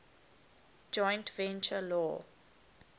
joint venture law